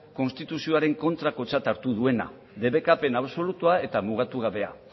konstituzioaren kontrakotzat hartu duena debekapen absolutua eta mugatu gabe